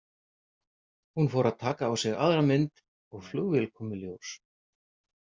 Hún fór að taka á sig aðra mynd og flugvél kom í ljós.